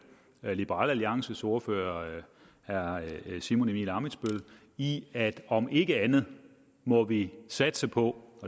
liberal alliances ordfører herre simon emil ammitzbøll i at om ikke andet må vi satse på